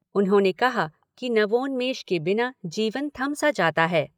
उन्होंने कहा कि नवोन्मेष के बिना जीवन थम सा जाता है।